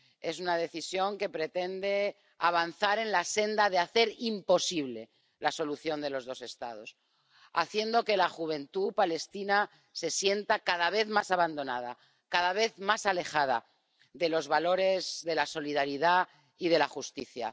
Es una decisión que pretende avanzar en la senda de hacer imposible la solución de los dos Estados, haciendo que la juventud palestina se sienta cada vez más abandonada, cada vez más alejada de los valores de la solidaridad y de la justicia.